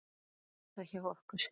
Þannig var það hjá okkur.